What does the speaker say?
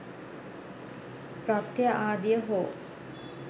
ප්‍රත්‍ය ආදිය හෝ